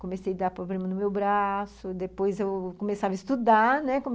Comecei a dar problema no meu braço, depois eu começava a estudar, né?